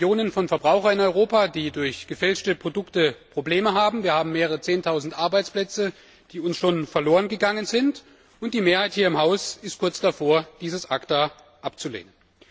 Wir haben Millionen von Verbrauchern in Europa, die durch gefälschte Produkte Probleme haben, wir haben mehrere Zehntausend Arbeitsplätze, die uns schon verloren gegangen sind, und die Mehrheit hier im Haus ist kurz davor, dieses ACTA abzulehnen.